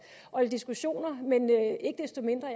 og lidt diskussioner men ikke desto mindre